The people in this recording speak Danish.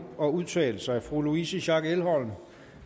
at udtale sig fru louise schack elhom